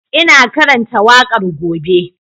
Ina karanta waƙar gobe